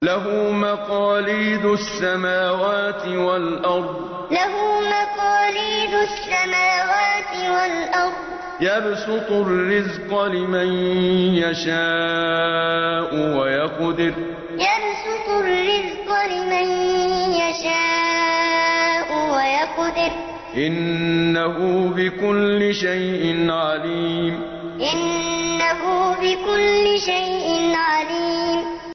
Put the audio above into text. لَهُ مَقَالِيدُ السَّمَاوَاتِ وَالْأَرْضِ ۖ يَبْسُطُ الرِّزْقَ لِمَن يَشَاءُ وَيَقْدِرُ ۚ إِنَّهُ بِكُلِّ شَيْءٍ عَلِيمٌ لَهُ مَقَالِيدُ السَّمَاوَاتِ وَالْأَرْضِ ۖ يَبْسُطُ الرِّزْقَ لِمَن يَشَاءُ وَيَقْدِرُ ۚ إِنَّهُ بِكُلِّ شَيْءٍ عَلِيمٌ